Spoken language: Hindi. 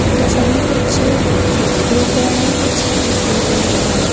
उधर साइड में कुछ सूखे हुए पेड़ हैं कुछ हरे हुए पेड़ हैं।